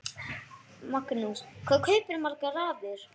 Magnús: Hvað kaupirðu margar raðir?